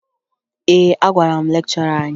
Ee, agwara m lekchọra anyị